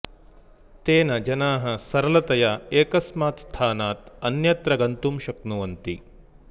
तेन जनाः सरलतया एकस्मात् स्थानात् अन्यत्र गन्तुं शक्नुवन्ति